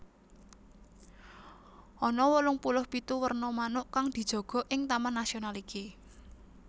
Ana wolung puluh pitu werna manuk kang dijaga ing taman nasional iki